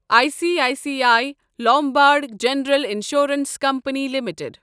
I C I C I Lombard General Insurance Company limited